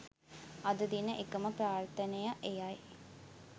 අද දින එකම ප්‍රාර්ථනය එයයි